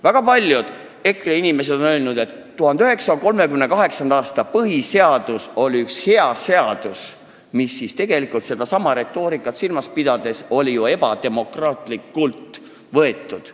Väga paljud EKRE inimesed on öelnud, et 1938. aasta põhiseadus oli üks hea seadus, kuigi see sedasama retoorikat silmas pidades oli ju ebademokraatlikult vastu võetud.